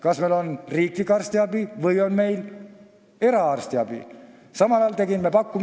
Kas meil on riiklik arstiabi või eraarstiabi?